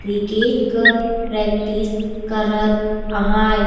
क्रिकट कर प्रैक्टिस करत अहाय।